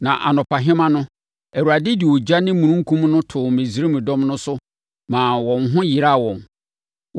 Na anɔpahema no, Awurade de ogya ne mununkudum no too Misraim dɔm no so maa wɔn ho yeraa wɔn.